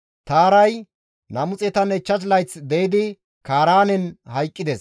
Taaray 205 layth de7idi Kaaraanen hayqqides.